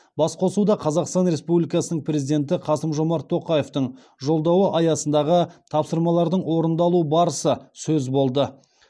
басқосуда қазақстан республикасының президенті қасым жомарт тоқаевтың жолдауы аясындағы тапсырмалардың орындалу барысы сөз болды